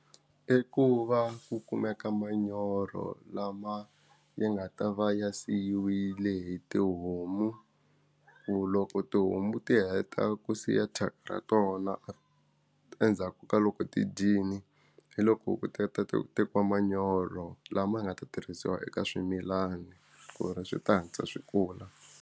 I ku va ku kumeka manyoro lama yi nga ta va ya siyiwile hi tihomu ku loko tihomu ti heta ku siya thyaka ra tona a endzhaku ka loko ti dyile hi loko ku tata tekiwa manyoro lama nga ta tirhisiwa eka swimilana ku ri swi ta hatlisa swi kula.